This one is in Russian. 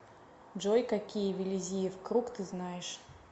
джой какие виллизиев круг ты знаешь